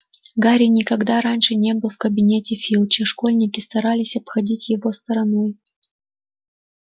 гарри никогда раньше не был в кабинете филча школьники старались обходить его стороной